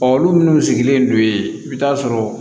Ɔ olu minnu sigilen don yen i bɛ taa sɔrɔ